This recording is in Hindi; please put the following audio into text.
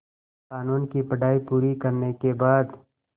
क़ानून की पढा़ई पूरी करने के बाद